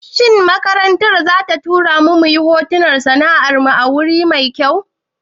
Shin makarantar za ta tura mu yin horon masana'antu a wuri mai kyau?